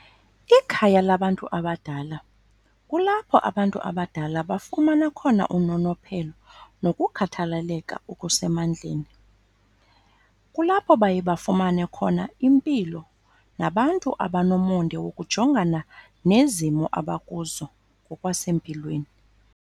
Ikhaya labantu abadala kulapho abantu abadala bafumana khona unonophelo nokukhathaleleka okusemandleni. Kulapho baye bafumane khona impilo nabantu abanomonde wokujongana nezimo abakuzo ngokwasempilweni.